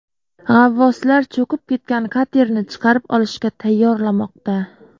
G‘avvoslar cho‘kib ketgan katerni chiqarib olishga tayyorlamoqda.